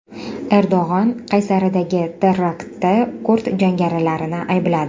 Erdo‘g‘on Qaysaridagi teraktda kurd jangarilarini aybladi.